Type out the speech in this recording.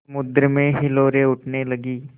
समुद्र में हिलोरें उठने लगीं